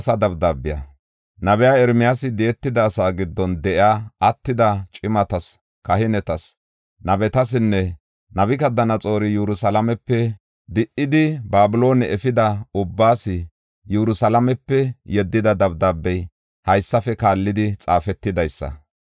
Nabiya Ermiyaasi di7etida asaa giddon de7iya attida cimatas, kahinetas, nabetasinne Nabukadanaxoori Yerusalaamepe di77idi, Babiloone efida ubbaas Yerusalaamepe yeddida dabdaabey haysafe kaallidi xaafetidaysa.